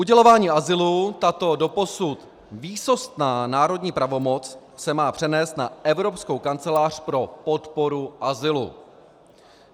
Udělování azylu, tato doposud výsostná národní pravomoc, se má přenést na Evropskou kancelář pro podporu azylu.